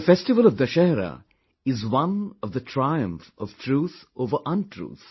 The festival of Dussehra is one of the triumph of truth over untruth